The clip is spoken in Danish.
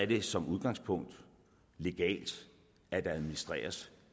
det som udgangspunkt legalt at der administreres